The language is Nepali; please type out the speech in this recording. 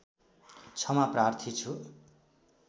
क्षमा प्रार्थी छु